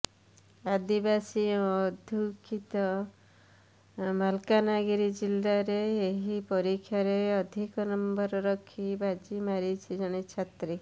ଆଦିବାସୀ ଅଧ୍ୟୁଷିତ ମାଲକାନଗିରି ଜିଲ୍ଲାରେ ଏହି ପରୀକ୍ଷାରେ ଅଧିକ ନମ୍ବର ରଖି ବାଜିମାରିଛି ଜଣେ ଛାତ୍ରୀ